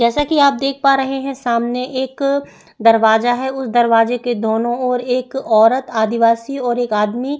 जैसा की आप देख पा रहे है सामने एक दरवाजा है उस दरवाजे के दोनों ओर एक औरत आदवासी और एक आदमी--